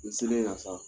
N selen yan sa